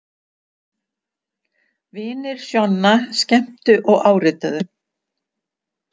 Vinir Sjonna skemmtu og árituðu